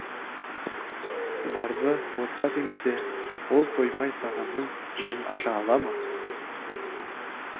құмарды отқа теңесе ол тоймай сағанның мәнін аша ала ма